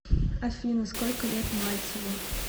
афина сколько лет мальцеву